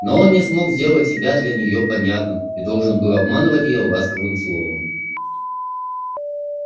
но он не смог сделать себя для неё понятным и должен был обманывать её ласковым словом